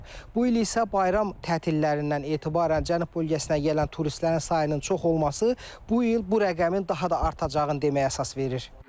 Bu il isə bayram tətilərindən etibarən Cənub bölgəsinə gələn turistlərin sayının çox olması bu il bu rəqəmin daha da artacağını deməyə əsas verir.